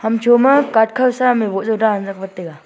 hamsho ma cart khaw sam e woh jaw dan jak vat taiga.